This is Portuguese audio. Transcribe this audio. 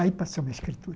Aí passou a minha escritura.